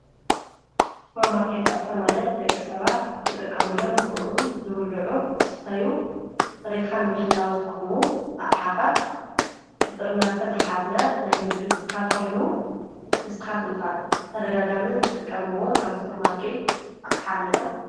ሱፐርማርከት ኣቕሓ ማለት ደቂ ሰባት ክጥቀሙሎም ዝኽሉ ዝብልዑ፣ ዝስተዩ፣ ፅሬትካ ንምሕላው ዝጠቕሙ ኣቕሓታት ብጥርናፈ ዝሓዘ ናይ ንግዲ ኣቑሑ እዩ፡፡ ንስኻትኩም ከ ብተደጋጋሚ ትጥቀምዎ ካብ ሱፐርማርከት ኣቕሓ ኣለ ዶ?